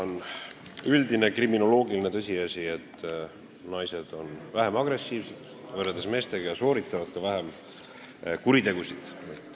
On üldine kriminoloogiline tõsiasi, et naised on vähem agressiivsed, võrreldes meestega, ja sooritavad ka vähem kuritegusid.